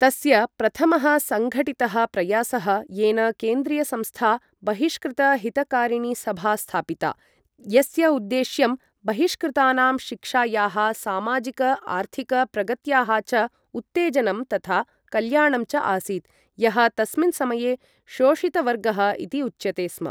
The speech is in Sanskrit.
तस्य प्रथमः सङ्घटितः प्रयासः येन केन्द्रीयसंस्था बहिष्कृतहितकारिणीसभा स्थापिता, यस्य उद्देश्यं बहिष्कृतानां शिक्षायाः, सामाजिक आर्थिक प्रगत्याः च उत्तेजनं तथा कल्याणं च आसीत्, यः तस्मिन् समये शोषितवर्गः इति उच्यते स्म।